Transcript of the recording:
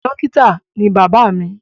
Dókítà ni bàbá mi.